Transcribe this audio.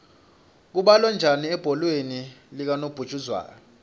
kubalwa kanjani ebholeni likanobhujuzwayo